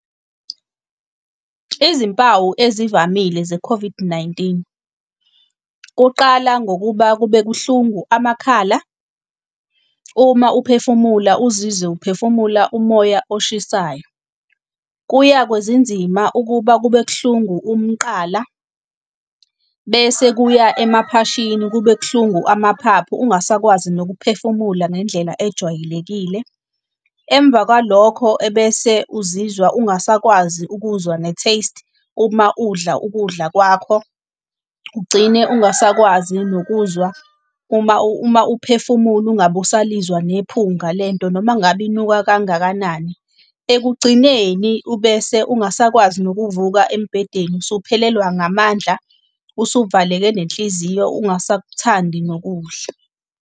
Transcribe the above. Izimpawu ezivamile ze-COVID-19. Kuqala ngokuba kube buhlungu amakhala, uma uphefumula uzizwe uphefumula umoya olushisayo. Kuya kwezinzima ukuba kube buhlungu umqala, bese kuya emaphashini kube kuhlungu amaphaphu ungasakwazi nokuphefumula ngendlela ejwayelekile. Emva kwalokho ebese uzizwa ungasakwazi ukuzwa ne-taste, uma udla ukudla kwakho ugcine ungasakwazi nokuzwa, uma uma uphefumula ungabe usalizwa nephunga lento, noma ngabe inuka kangakanani. Ekugcineni ubese ungasakwazi nokuvuka embedeni, usuphelelwa ngamandla, usuvaleke nenhliziyo ungasakthandi nokudla.